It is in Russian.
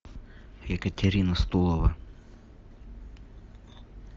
екатерина стулова